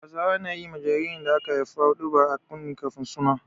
Hausawa na yi ma jaririn da aka haifa huɗuba a kunne kafin suna.